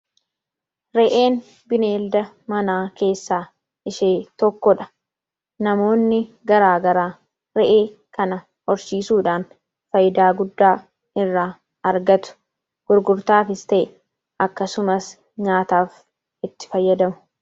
Re'een bineelda manaa keessaa ishee tokkodha. Namoonni garaa garaa re'ee kana horsiisuudhaan faayidaa guddaa irraa argatu. Gurgurtaafis ta'e, akkasumas nyaataaf itti fayyadamu.